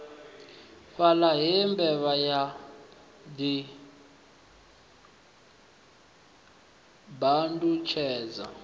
fhaḽa he mbevha ya ḓibandutshedza